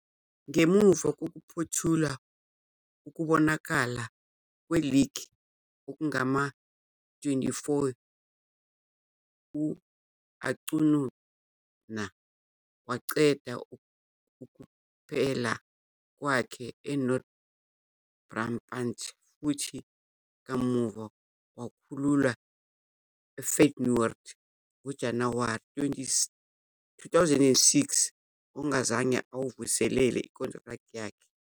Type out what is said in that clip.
Ngemuva kokuphothula ukubonakala kweligi okungama-24, u-Acuña waqeda ukupela kwakhe eNorth Brabant futhi kamuva wakhululwa eFeyenoord ngoJanuwari 2006 ongazange ayivuselele inkontileka yakhe.